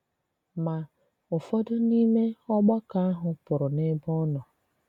Ma, ụfọdụ n’ime ògbàkọ ahụ pụrụ n’ebe ọ nọ.